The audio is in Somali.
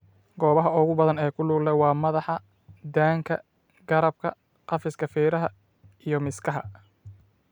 Goobaha ugu badan ee ku lug leh waa madaxa, daanka, garabka, qafiska feeraha, iyo miskaha.